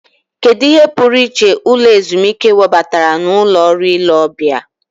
Kedu ihe pụrụ iche ụlọ ezumike webatara na ụlọ ọrụ ile ọbịa?